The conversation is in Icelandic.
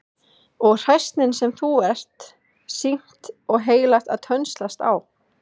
Og hræsnin sem þú ert sýknt og heilagt að tönnlast á!